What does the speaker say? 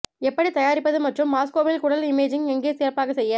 எப்படி தயாரிப்பது மற்றும் மாஸ்கோவில் குடல் இமேஜிங் எங்கே சிறப்பாக செய்ய